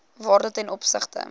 waarde ten opsigte